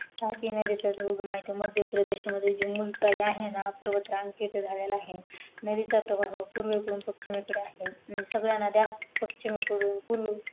तापी नदीचा जो उगम आहे तो मध्य प्रदेश मधील जुमून तले आहे ना पर्वतरांग तिथे झालेला आहे नदीचा प्रवाह पूर्वे कडून पचीमेकडे आहे सगळ्या नद्या पश्चिमेकडून पूर्वेकडे